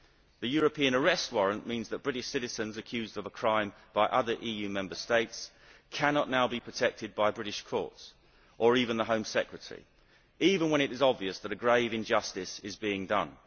The European arrest warrant means that British citizens accused of a crime by other EU Member States cannot now be protected by British courts or even the Home Secretary, even when it is obvious that a grave injustice is being done.